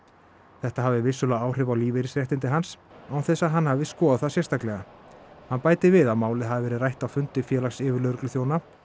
þetta hafi vissulega áhrif á lífeyrisréttindi hans án þess að hann hafi skoðað það sérstaklega hann bætir við að málið hafi verið rætt á fundi Félags yfirlögregluþjóna